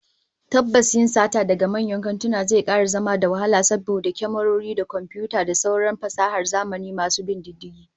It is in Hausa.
Tabbas yin sata daga manyan kantuna zai kara zama da wahala saboda kyamarori da komfiyuta da sauran fasahar zamani masu bin diddigi